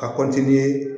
A